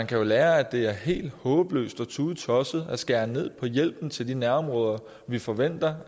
kan jo lære at det er helt håbløst og tudetosset at skære ned på hjælpen til de nærområder vi forventer